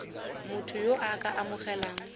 motho yo o ka amogelang